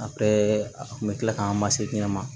A bɛɛ a kun bɛ tila k'an ma se ɲɛ ma